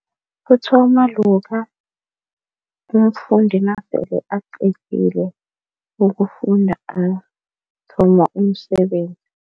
Kuthoma lokha mfundi nasele aqedile ukufunda athola umsebenzi.